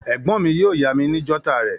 Ègbón mi yio yá mi ni jotter rè